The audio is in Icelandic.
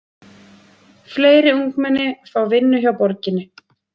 Fleiri ungmenni fá vinnu hjá borginni